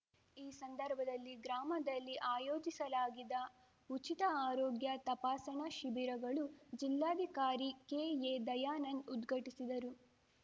ಈ ಸಂದರ್ಭದಲ್ಲಿ ಗ್ರಾಮದಲ್ಲಿ ಆಯೋಜಿಸಲಾಗಿದ್ದ ಉಚಿತ ಆರೋಗ್ಯ ತಪಾಸಣಾ ಶಿಬಿರಗಳು ಜಿಲ್ಲಾಧಿಕಾರಿ ಕೆಎದಯಾನಂದ್‌ ಉದ್ಘಟಿಸಿದರು